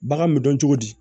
Bagan me dɔn cogo di